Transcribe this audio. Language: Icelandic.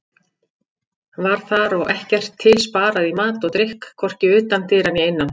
Var þar og ekkert til sparað í mat og drykk, hvorki utan dyra né innan.